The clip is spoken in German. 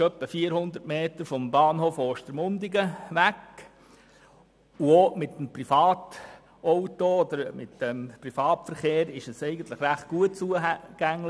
Er befindet sich circa 400 Meter vom Bahnhof Ostermundigen entfernt und ist auch mit dem Privatverkehr verhältnismässig gut zugänglich.